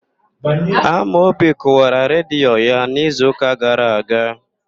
Amaobi Kụwara redio ya n'izuụka gara aga..